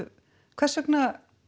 hvers vegna